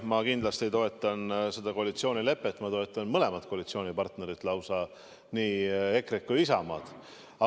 Ma kindlasti toetan seda koalitsioonilepet ja ma toetan lausa mõlemat koalitsioonipartnerit, nii EKRE-t kui ka Isamaad.